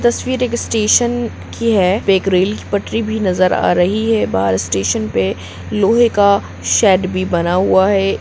तस्वीर एक स्टेशन की है एक रेल पटरी भी नजर आ रही है बाहर स्टेशन पे लोहे का शेड भी बना हुआ है।